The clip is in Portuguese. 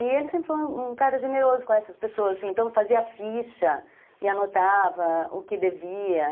E ele sempre foi um cara generoso com essas pessoas, então fazia ficha e anotava o que devia.